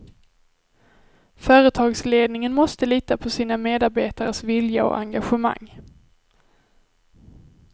Företagsledningen måste lita på sina medarbetares vilja och engagemang.